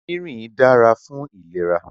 Rìnrìn dára fún ìlera.